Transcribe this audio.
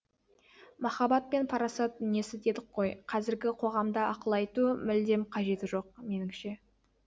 махаббат пен парасат дүниесі дедік қой қазіргі қоғамда ақыл айту мүлдем қажеті жоқ меніңше